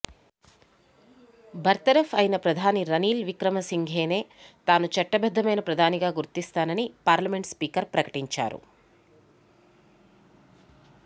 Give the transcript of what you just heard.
బర్తరఫ్ అయిన ప్రధాని రనీల్ విక్రమ్సింఘేనే తాను చట్టబద్ధమైన ప్రధానిగా గుర్తిస్తానని పార్లమెంట్ స్పీకర్ ప్రకటించారు